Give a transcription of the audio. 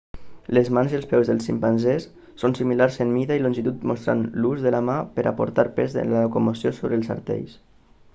les mans i peus dels ximpanzés són similars en mida i longitud mostrant l'ús de la mà per a portar pes en la locomoció sobre els artells